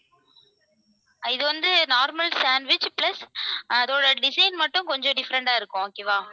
இது வந்து normal sandwich plus அதோட design மட்டும் கொஞ்சம் different ஆ இருக்கும் okay வா?